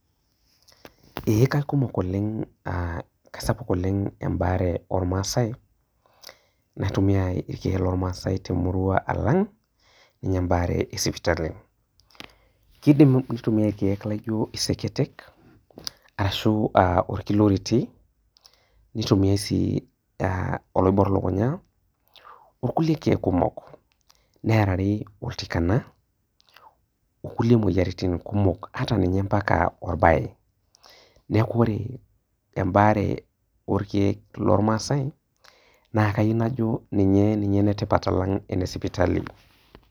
Ee kaikumok oleng e kaisapuk oleng embaare ormasai naitumia irkiek lormaasai alang embaare esipitali, kidim aitumiai orkiek lijo iseketek arashu orkiloriti, nitumiai sii a oloibor lukunya, orkulie kiek kumok nearari oltikana onkulie moyiaritin kumok ata ninye orbae, neaku ore embaare orkiek lormasai ninye enetipat alang enorkiek lesipitali.